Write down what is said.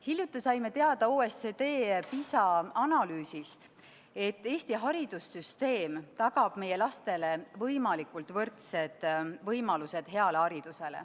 Hiljuti saime OECD PISA analüüsist teada, et Eesti haridussüsteem tagab meie lastele võimalikult võrdsed võimalused saada hea haridus.